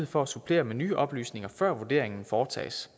for at supplere med nye oplysninger før vurderingen foretages